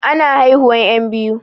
Ana haihuwan 'yan biyu.